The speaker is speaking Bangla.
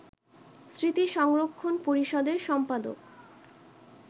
স্মৃতি সংরক্ষণ পরিষদের সম্পাদক